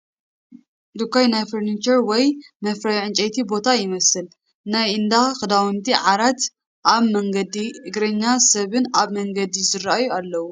ድኳን ናይ ፈርኒቸር ወይ መፍረዪ ዕንጨይቲ ቦታ ይመስል፣ ናይ እንዳ ክዳውንቲ ፣ ዓራትን ኣብ መንገዲ እግረኛ ሰብን ኣብ መንገዲ ዝረኣዩ ኣለውዎ።